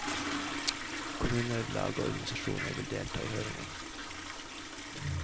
Kommuner, lag og organisasjoner vil delta i høringen.